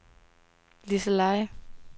Liseleje